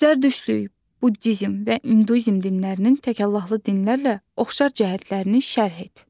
Zərdüştlük, buddizm və induizm dinlərinin təkaffullahlı dinlərlə oxşar cəhətlərini şərh et.